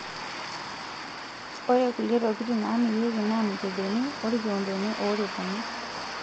Ore kulie tokitin naamirieki naa mikebeni o rkioondoni ooripuni.